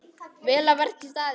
Vel að verki staðið!